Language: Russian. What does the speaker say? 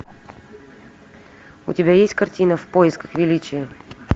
у тебя есть картина в поисках величия